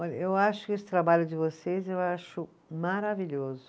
Olha, eu acho que esse trabalho de vocês, eu acho maravilhoso.